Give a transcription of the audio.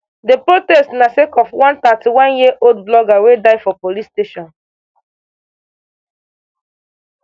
di protest na sake of one thirty-oneyearold blogger wey die for police custody